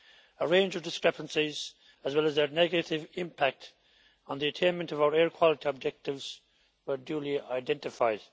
A range of discrepancies, as well as their negative impact on the attainment of our air quality objectives, were duly identified.